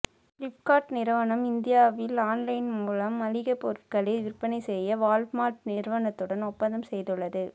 Flipkart நிறுவனம் இந்தியாவில் online மூலம் மளிகை பொருட்களை விற்பனை செய்ய வால்மார்ட் நிறுவனத்துடன் ஒப்பந்தம் செய்துள்ளது